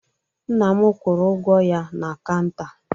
Nna m kwụrụ ụgwọ ya na kanta